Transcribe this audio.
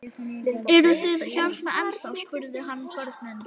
Eruð þið hérna ennþá? spurði hann börnin.